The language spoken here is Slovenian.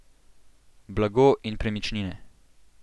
Blago in premičnine.